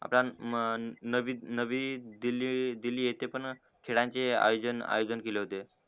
आपला म नवी दिल्ली दिल्ली येते पण खेळांचे आयोजन आयोजन केले होते